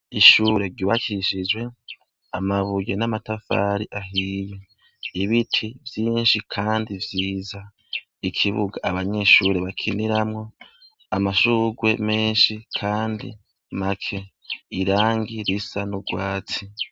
Ishure ryuwakishijwe amabuye n'amatafari ahiye ibiti vyinshi, kandi vyiza ikibuga abanyishure bakiniramwo amashugwe menshi, kandi make irangi risa n'urwatsi.